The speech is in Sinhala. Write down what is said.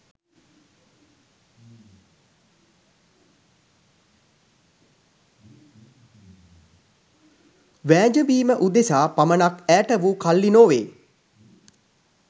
වෑජඹීම උදෙසා පමනක් ඈටවු කල්ලි නොවේ